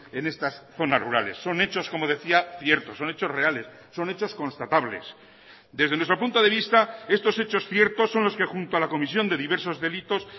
en estas zonas rurales son hechos como decía ciertos son hechos reales son hechos constatables desde nuestro punto de vista estos hechos ciertos son los que junto a la comisión de diversos delitos